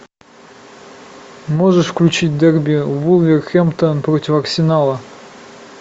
можешь включить дерби вулверхэмптон против арсенала